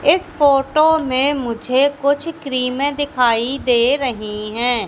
इस फोटो में मुझे कुछ क्रीमें दिखाई दे रही हैं।